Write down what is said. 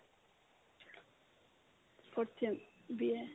fourth sem BA